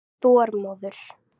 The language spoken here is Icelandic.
Þormóður